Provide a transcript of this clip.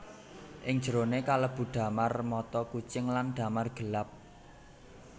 Ing jeroné kalebu damar mata kucing lan damar gelap